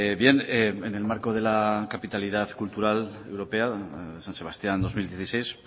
bien en el marco de la capitalidad cultural europea san sebastián dos mil dieciséis